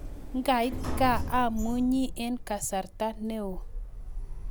Ngait kaa amunyii eng kasartaa ne o